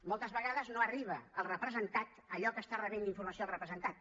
moltes vegades no arriba al representat allò que està rebent d’informació el representant